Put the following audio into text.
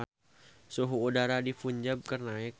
Suhu udara di Punjab keur naek